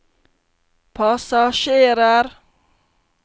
passasjerer